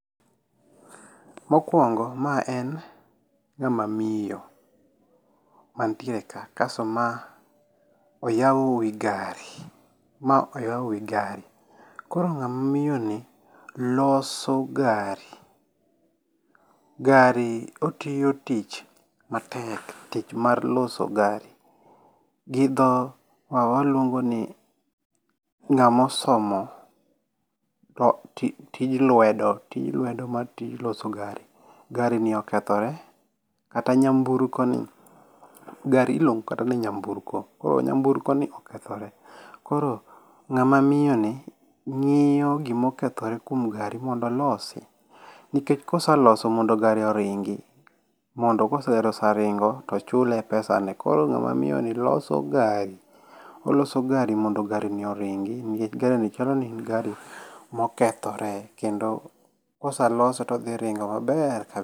Mokuongo ma en ng'ama miyo, mantiere ka kasto ma oyawo wi gari, ma oyawo wi gari. Koro ng'ama miyoni loso gari. Gari otiyo tich matek, tich mar loso gari, gi dho waluongo ni ng'ama osomo tij lwedo, tij lwedo mar loso gari. Gari ni okethore kata nyamburko ni, gari iluongo kata ni nyamburko. Koro nyamburko ni okethore, koro ng'ama miyoni ng'iyo gima okethore kuom gari mondo olosi nikech kose loso mondo gari oringi. Mondo ka gari oseringo to chule pesa ne. Koro ng'ama miyoni loso gari, oloso gari mondo garini oringi nikech garini chal ni en gari mokethore kendo kose lose to odhi ringo maber kab.